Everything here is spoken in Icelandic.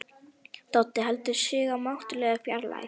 Doddi heldur sig í mátulegri fjarlægð.